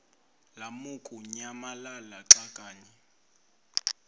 lamukunyamalala xa kanye